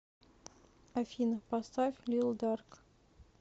афина поставь лил дарк